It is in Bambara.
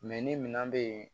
ni minɛn bɛ yen